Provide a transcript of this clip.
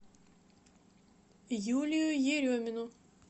юлию еремину